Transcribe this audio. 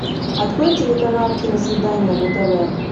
открой телеканал киносвидание на тв